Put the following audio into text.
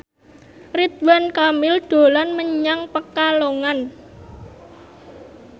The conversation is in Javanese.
Ridwan Kamil dolan menyang Pekalongan